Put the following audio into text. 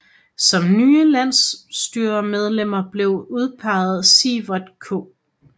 Som nye landsstyremedlemmer blev udpeget Siverth K